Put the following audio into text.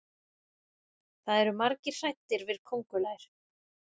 það eru margir hræddir við köngulær